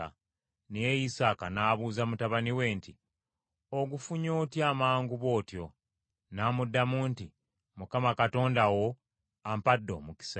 Naye Isaaka n’abuuza mutabani we nti, “Ogufunye otya amangu bw’otyo?” N’amuddamu nti, “ Mukama Katonda wo ampadde omukisa.”